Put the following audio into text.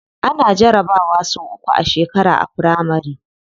Ana jarabawa sau uku a shekara a firamari.